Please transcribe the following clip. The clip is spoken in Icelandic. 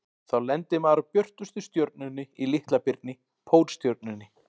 Þá lendir maður á björtustu stjörnunni í Litla-birni, Pólstjörnunni.